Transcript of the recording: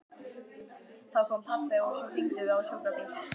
Þá kom pabbi og svo hringdum við á sjúkrabíl.